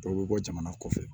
Dɔw bɛ bɔ jamana kɔfɛ